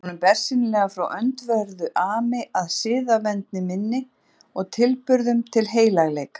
Var honum bersýnilega frá öndverðu ami að siðavendni minni og tilburðum til heilagleika.